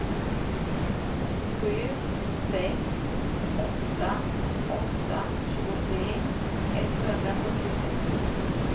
sju sex åtta åtta tjugotre etthundrasjuttiosex